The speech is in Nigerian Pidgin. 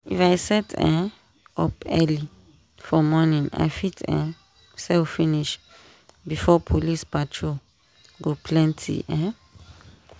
if i set um up early for morning i fit um sell finish before police patrol go plenty. um